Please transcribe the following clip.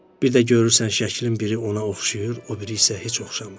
Bir də görürsən şəklin biri ona oxşayır, o biri isə heç oxşamır.